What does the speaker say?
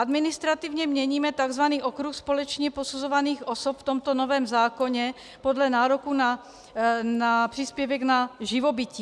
Administrativně měníme tzv. okruh společně posuzovaných osob v tomto novém zákoně podle nároku na příspěvek na živobytí.